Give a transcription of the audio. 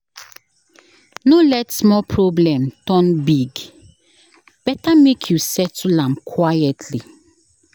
No let small problem turn big; better make you settle am quietly.